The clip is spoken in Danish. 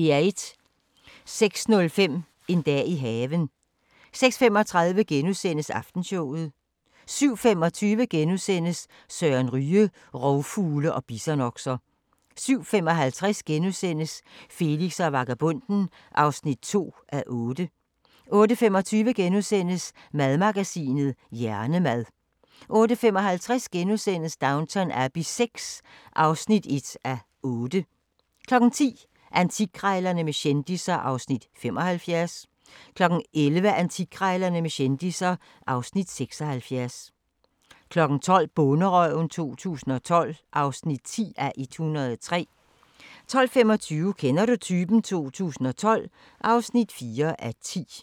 06:05: En dag i haven 06:35: Aftenshowet * 07:25: Søren Ryge: Rovfugle og bisonokser * 07:55: Felix og vagabonden (2:8)* 08:25: Madmagasinet: Hjernemad * 08:55: Downton Abbey VI (1:8)* 10:00: Antikkrejlerne med kendisser (Afs. 75) 11:00: Antikkrejlerne med kendisser (Afs. 76) 12:00: Bonderøven 2012 (10:103) 12:25: Kender du typen? 2012 (4:10)